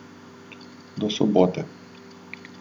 Do sobote.